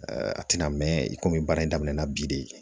a tɛna mɛn komi baara daminɛ na bi de